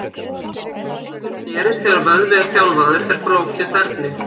Það sem gerist þegar vöðvi er þjálfaður er flókið ferli.